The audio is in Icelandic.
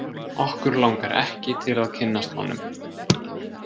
Okkur langar ekki til að kynnast honum.